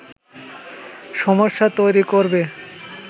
সমস্যা তৈরি করবে